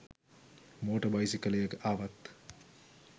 motor බයිසිකලයක ආවත්